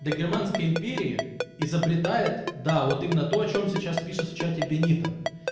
до германской империи изобретает да вот именно то о чём сейчас пишет в чате бенито